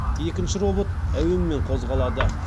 екінші робот әуенмен қозғалады